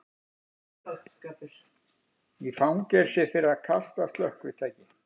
Í fangelsi fyrir að kasta slökkvitæki